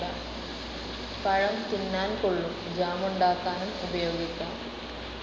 പഴം തിന്നാൻ കൊള്ളും ജാമുണ്ടാക്കാനും ഉപയോഗിക്കാം.